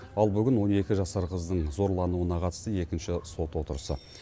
ал бүгін он екі жасар қыздың зорлануына қатысты екінші сот отырысы